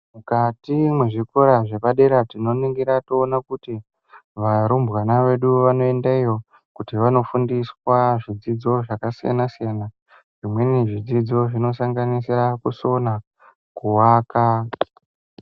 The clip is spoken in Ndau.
Mukatii mezvikora zvedu zvepadera tinoningira toona kuti Varumbwana vedu vanoenda iyo kuti vandofundiswa zvidzidzo zvasiyana siyana zvimweni zvidzidzo zvinosanganisira kusona kuwaka